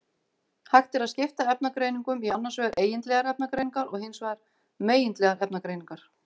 Hægt er að skipta efnagreiningum í annars vegar eigindlegar efnagreiningar og hins vegar megindlegar efnagreiningar.